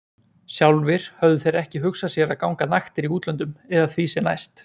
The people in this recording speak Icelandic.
Sjálfir höfðu þeir ekki hugsað sér að ganga naktir í útlöndum eða því sem næst.